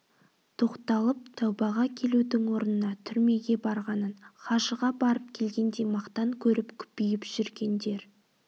тоқталып тәубаға келудің орнына түрмеге барғанын хажыға барып келгендей мақтан көріп күпиіп жүргендер